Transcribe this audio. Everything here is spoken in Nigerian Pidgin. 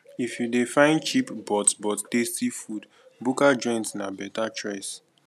if you dey find cheap but but tasty food bukka joints na better choice